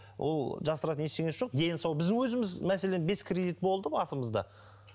ол жасыратын ештеңесі жоқ дені сау біздің өзіміз мәселен бес кредит болды басымызда